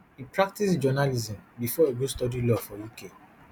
e practice journalism bifor e go study law for uk